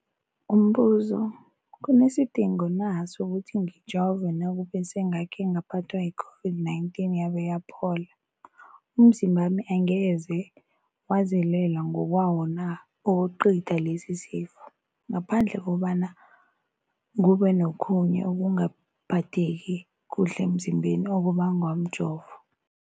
Umbuzo, kunesidingo na sokuthi ngijove nakube sengakhe ngaphathwa yi-COVID-19 yabe yaphola? Umzimbami angeze wazilwela ngokwawo na ukucitha lesisifo, ngaphandle kobana kube nokhunye ukungaphatheki kuhle emzimbeni okubangwa mjovo?